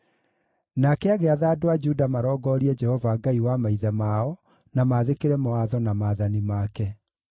Nake agĩatha andũ a Juda marongorie Jehova, Ngai wa maithe mao, na maathĩkĩre mawatho na maathani make.